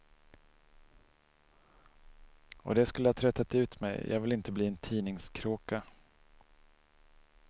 Och det skulle ha tröttat ut mig, jag vill inte bli en tidningskråka.